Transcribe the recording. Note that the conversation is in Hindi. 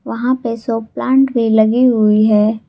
वहां पे सब प्लांट भी लगी हुई है।